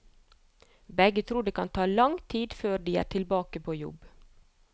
Begge tror det kan ta lang tid før de er tilbake på jobb.